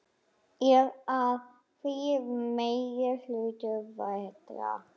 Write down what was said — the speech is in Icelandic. Er að því meiri hluta vetrar.